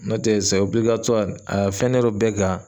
Nɔtɛ aa fɛnnen do bɛɛ kan